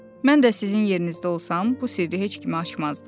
Mən də sizin yerinizdə olsam, bu sirri heç kimə açmazdım.